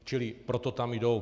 Čili proto tam jdou.